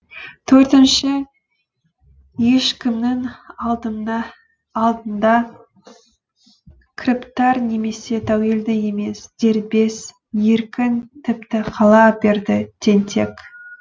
төртінші ешкімнің алдында кіріптар немесе тәуелді емес дербес еркін тіпті қала берді тентек